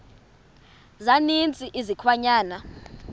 za ninzi izilwanyana